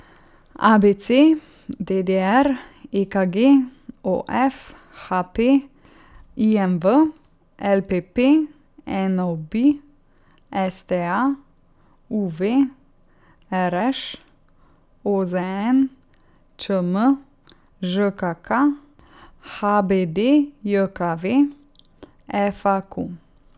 A B C; D D R; E K G; O F; H P; I M V; L P P; N O B; S T A; U V; R Š; O Z N; Č M; Ž K K; H B D J K V; F A Q.